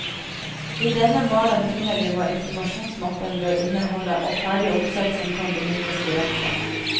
I denne malen finner du hva informasjonsmappen bør inneholde og ferdige oppsett som kan benyttes direkte.